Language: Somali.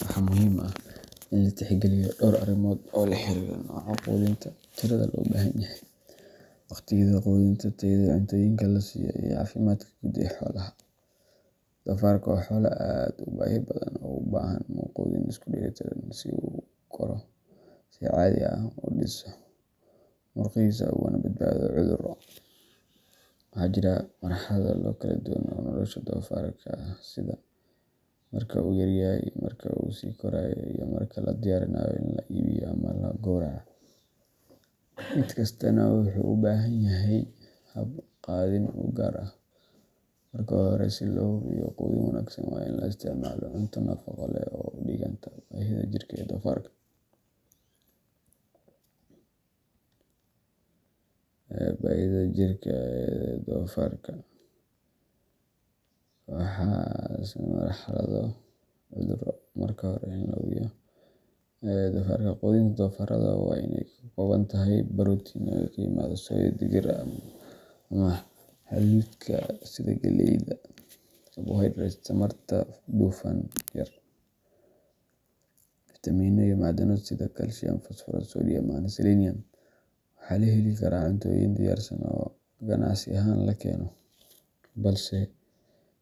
Waxaa muhiim ah in la tixgeliyo dhowr arrimood oo la xiriira nooca quudinta, tirada loo baahan yahay, wakhtiyada quudinta, tayada cuntooyinka la siiyo, iyo caafimaadka guud ee xoolaha. Doofaarka waa xoolo aad u baahi badan oo u baahan quudin isku dheellitiran si uu u koro si caadi ah, u dhiso murqihiisa, ugana badbaado cudurro. Waxaa jira marxalado kala duwan oo nolosha doofaarka ah sida marka uu yaryahay, marka uu sii korayo, iyo marka la diyaarinayo in la iibiyo ama la gowraco mid kastaana wuxuu u baahan yahay hab quudin u gaar ah. Marka hore, si loo hubiyo quudin wanaagsan, waa in la isticmaalo cunto nafaqo leh oo u dhiganta baahida jirka ee doofaarka. Quudinta doofaarrada waa in ay ka kooban tahay borotiin oo ka yimaada soy, digir, ama hadhuudhka sida galleyda, carbohydrates tamarta, dufan yar, fiitamiinno iyo macdano sida calcium, phosphorus, sodium and selenium. Waxaa la heli karaa cuntooyin diyaarsan oo ganacsi ahaan la keeno, balse